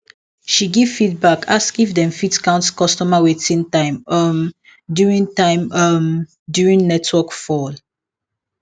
she give feedback ask if dem fit count customer waiting time um during time um during network fall